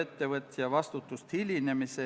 Tänan tähelepanu eest!